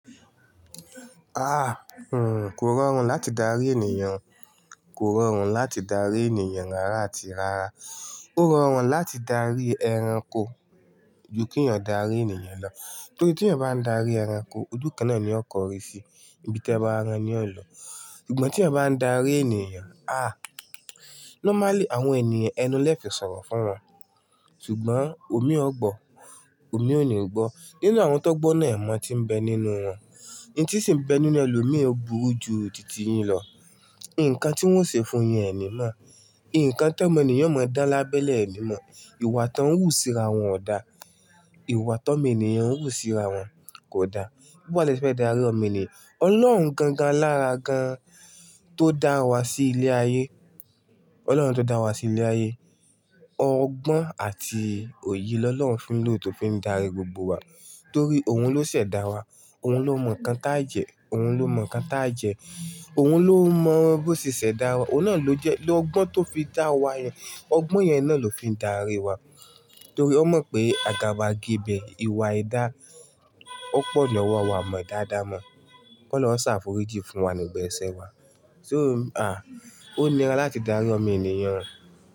Kò rọrùn láti darí ènìyàn, kò rọrùn láti darí ènìyàn rárá àti rárá. Ó rọrùn láti darí ẹranko ju kí ènìyàn darí ènìyàn lọ. Torí tí ènìyàn bá ń darí ẹranko, ojú kan náà ni ó kọrí sí, ibi tí ẹ bá rán ni ó lọ. Ṣùgbọ́n tí ènìyàn bá ń darí ènìyàn, ah! Normally àwọn ènìyàn ẹnu lẹ fi sọ̀rọ̀ fún wọn. Ṣùgbọ́n omi ogbọ̀, omi ò ní gbọ́. Nínú àwọn tó gbọ́ náà, ẹ̀mọ ti ń bẹ nínú wọn. Un tí sì ń bẹ nínú ẹ lòómi ò bú rú ju ti tìyín lọ. Ǹkan tí wọ́n ṣe fún yẹn ení mọ̀. Ǹkan tí omọ ènìyàn máa dá lábẹ́lẹ̀ elee mọ̀. Ìwà tí wọ́n ń wù síra wọn ò dá. Ìwà tí ọmọ ènìyàn ń wù síra wọn kò dá. Bó àlè ṣe fẹ́ darí ọmọ ènìyàn? Ọlọ́run gangan lára gan tó dá wa sí ilé ayé, Ọlọ́run tó dá wa sí ilé ayé, ọgbọ́n àti òye lọ́lọ́run fi ń lò tó fi ń darí gbogbo wa. Torí òun ló ṣẹ̀dá wa, òun ló mọ̀ nǹkan tájẹ́, òun ló mọ̀ nǹkan táje òun ló mọ bó ṣẹ̀ṣẹ̀ dá wa. Òun náà ló jẹ́ lọ́gbọ́n tó fi dá wa yẹn. Ọgbọ́n yẹn náà ló fi ń darí wa. Torí ó mọ̀ pé àgàbàgebẹ̀ ìwà idá ó pọ̀ lọ́wọ́ àwọn ọmọ eda adamọ̀. Kọ́ ọlọrun ṣàfúrijí fún wa ní gbogbo ẹsẹ́ wa. Sé o m-- ah! Ó nira láti darí ọmọ ènìyàn.